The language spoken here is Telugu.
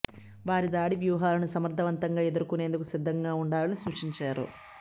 వారి దాడి వ్యూహాలను సమర్థవంతంగా ఎదుర్కొనేందుకు సిద్ధంగా ఉండాలని సూచించారు